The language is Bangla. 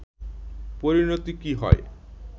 পরিনতি কী হয়